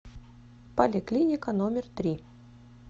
поликлиника номер три